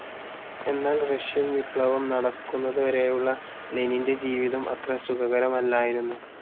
എന്നാൽ റഷ്യൻ വിപ്ലവം നടക്കുന്നതുവരേയുള്ള ലെനിൻ്റെ ജീവിതം അത്ര സുഖകരമല്ലായിരുന്നു.